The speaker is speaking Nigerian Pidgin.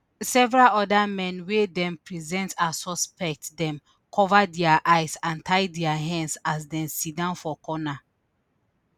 several otda men wey dem present as suspects dem cover dia eye and tie dia hands as dem siddon for corner